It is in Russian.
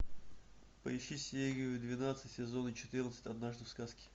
поищи серию двенадцать сезона четырнадцать однажды в сказке